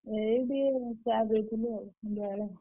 ଏଇଠି ଏଇ ଚାହା ପିଉଥିଲି ଆଉ ସନ୍ଧ୍ୟାବେଳେ।